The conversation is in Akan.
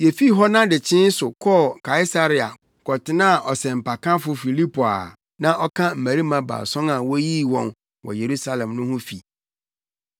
Yefii hɔ nʼadekyee so kɔɔ Kaesarea kɔtenaa ɔsɛmpakafo Filipo a na ɔka mmarima baason a woyii wɔn wɔ Yerusalem no ho no fi.